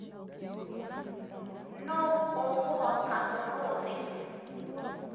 Nũ ũkũhota ũmũthĩ